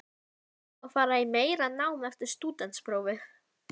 Á að fara í meira nám eftir stúdentsprófið?